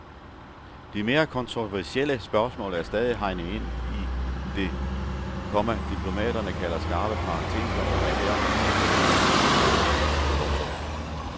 De mere kontroversielle spørgsmål er stadig hegnet ind i det, komma diplomaterne kalder skarpe parenteser og er derfor fortsat åbne for forhandling. punktum